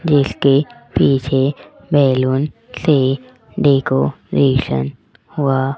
जिसके पीछे बैलून से डेकोरेशन हुआ--